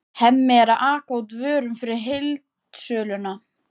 Hemmi er að aka út vörum fyrir heildsöluna.